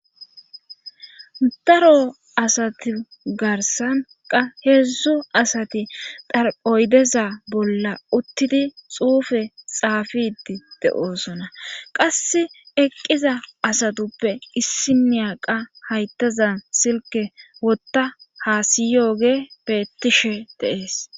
Daro asati garsanqa heedzdzu asati daroydeza bolla uttidi xuufe xaafidi de7oosona qass eqqiza asatuppe issi niyaqa hayttazan silke wotta hasiyoge beettishe deees